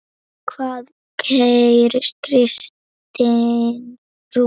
Hvað segir kristin trú?